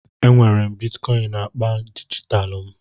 Enwere m Bitikoin naakpa dijitalụ m